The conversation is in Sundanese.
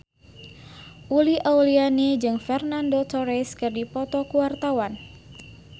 Uli Auliani jeung Fernando Torres keur dipoto ku wartawan